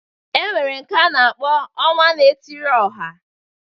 E nwere nke a na-akpọ ọnwa na-etiri ọha